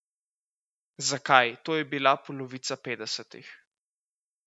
Zakaj to je bila polovica petdesetih.